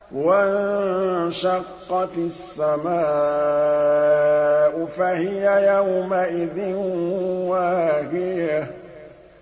وَانشَقَّتِ السَّمَاءُ فَهِيَ يَوْمَئِذٍ وَاهِيَةٌ